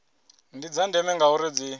ndi dza ndeme ngauri dzi